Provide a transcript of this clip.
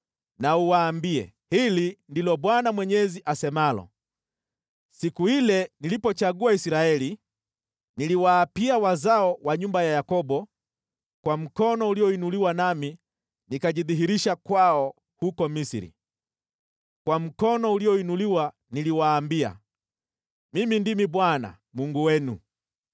na uwaambie: ‘Hili ndilo Bwana Mwenyezi asemalo: Siku ile nilipochagua Israeli, niliwaapia wazao wa nyumba ya Yakobo kwa mkono ulioinuliwa nami nikajidhihirisha kwao huko Misri. Kwa mkono ulioinuliwa niliwaambia, “Mimi ndimi Bwana , Mungu wenu.”